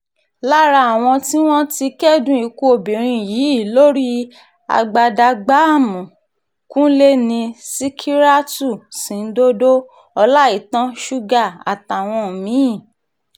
lára àwọn tí wọ́n ti kẹ́dùn ikú obìnrin yìí lórí agbadagbààmú kúnlé ni sìkírátù sìǹdòdó ọláìtàn sugar àtàwọn mí-ín